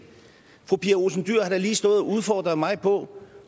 fru pia olsen dyhr har lige stået og udfordret mig på